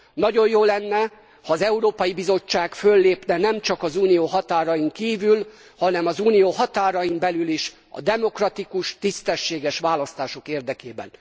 Nagyon jó lenne, ha ez Európai Bizottság föllépne nem csak az Unió határain kívül, hanem az Unió határain belül is a demokratikus, tisztességes választások érdekében.